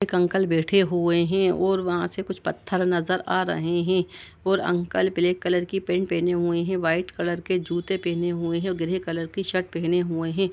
एक अंकल बैठे हुए हैं और वहाॅं से कुछ पत्थर नज़र आ रहे हैं और अंकल ब्लैक कलर की पैन्ट पहने हुए है व्हाइट कलर की जूते पहने हुए हैं और ग्रे कलर की शर्ट पहने हुए हैं।